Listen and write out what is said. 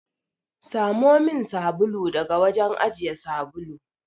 Samo min sabulu daga wajen ajiye sabulu.